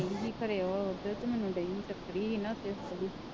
ਗਈ ਸੀ ਖਰੇ ਉਹ ਉੱਧਰ ਤੇ ਮੈਨੂੰ ਡਈ ਸੀ ਟੱਕਰੀ ਸੀ ਨਾ ਉੱਥੇ